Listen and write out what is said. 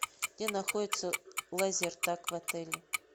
где находится лазертаг в отеле